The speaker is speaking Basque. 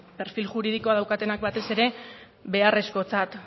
perfil juridikoa daukatenak batez ere beharrezkotzat